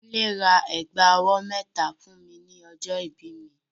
Kúnlé ra ẹ̀gbà ọwọ́ mẹ́ta fún mi ní ọjọ́ ìbí mi.